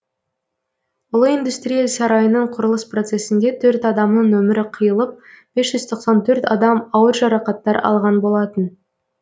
ұлы индустрия сарайының құрылыс процесінде төрт адамның өмірі қиылып бес жүз тоқсан төрт адам ауыр жарақаттар алған болатын